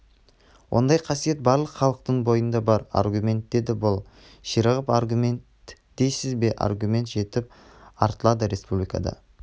ондай қасиет барлық халықтың бойында бар аргумент деді бұл ширығып аргумент дейсіз бе аргумент жетіп артылады республикада